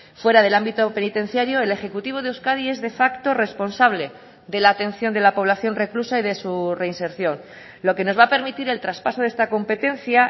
fuera del ámbito penitenciario el ejecutivo de euskadi es de facto responsable de la atención de la población reclusa y de su reinserción lo que nos va a permitir el traspaso de esta competencia